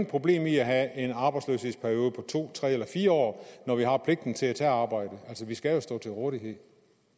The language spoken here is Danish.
problem i at have en arbejdsløshedsperiode på to tre eller fire år når vi har pligten til at tage arbejde altså vi skal jo stå til rådighed